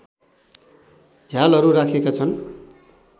झ्यालहरू राखिएका छन्